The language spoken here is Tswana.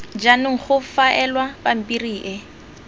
jaanong go faelwa pampiri e